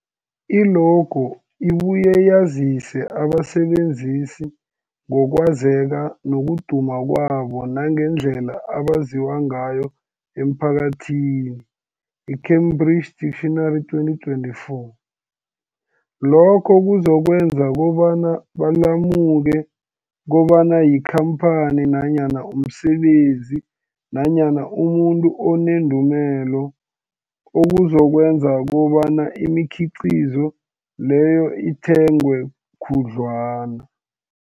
I-logo ibuye yazise abasebenzisi ngokwazeka nokuduma kwabo nangendlela abaziwa ngayo emphakathini, i-Cambridge Dictionary 2024. Lokho kuzokwenza kobana balemuke kobana yikhamphani nanyana umsebenzi nanyana umuntu onendumela, okuzokwenza kobana imikhiqhizo leyo ithengwe khudlwana.